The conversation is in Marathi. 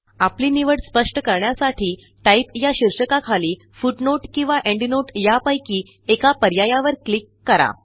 आपली निवड स्पष्ट करण्यासाठी टाइप या शीर्षकाखाली Footnoteकिंवा Endnoteयापैकी एका पर्यायावर क्लिक करा